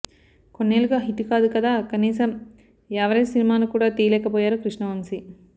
కొన్నేళ్లుగా హిట్ కాదు కదా కనీసం యావరేజ్ సినిమాను కూడ తీయలేకపోయారు కృష్ణవంశీ